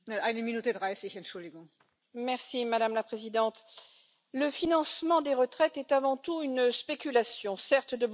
Madame la Présidente, le financement des retraites est avant tout une spéculation, certes, de bon père de famille, mais une spéculation quand même.